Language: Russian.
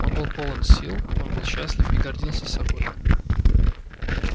он был полон сил он был счастлив и гордился собой